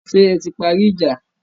Ṣé ẹ ti parí ìjà?